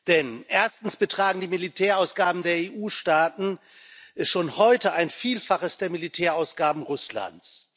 Denn erstens betragen die Militärausgaben der EU Staaten schon heute ein Vielfaches der Militärausgaben Russlands.